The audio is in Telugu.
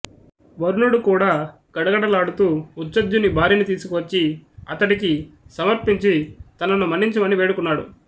వరుణుడు కూడా గడగడ లాడుతూ ఉచధ్యుని భార్యను తీసుకు వచ్చి అతడికి సమర్పించి తనను మన్నించమని వేడుకున్నాడు